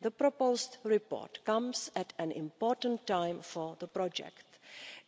The proposed report comes at an important time for the project.